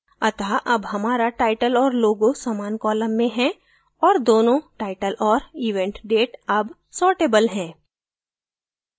अत: अब हमारा title और logo समान column में हैं और दोनों title और event date अब sortable हैं